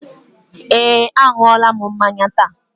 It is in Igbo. Eé, a ṅụọla m mmanya taa.